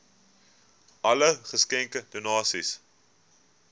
alle geskenke donasies